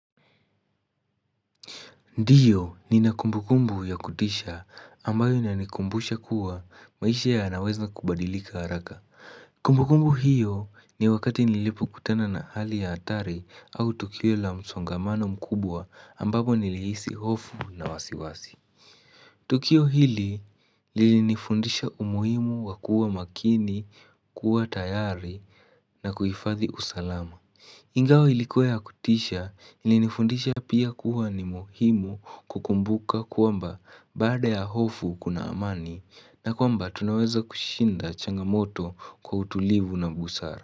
Ndio nina kumbukumbu ya kutisha ambayo inanikumbusha kuwa maisha yanaweza kubadilika haraka Kumbukumbu hiyo ni wakati nilipo kutana na hali ya hatari au tukio la msongamano mkubwa ambapo nilihisi hofu na wasiwasi Tukio hili lilini fundisha umuhimu wa kuwa makini kuwa tayari na kuhifadhi usalama Ingawa ilikuwa ya kutisha ilinifundisha pia kuwa ni muhimu kukumbuka kwamba baada ya hofu kuna amani na kuamba tunaweza kushinda changamoto kwa utulivu na busara.